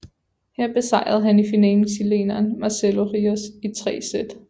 Her besejrede han i finalen chileneren Marcelo Ríos i 3 sæt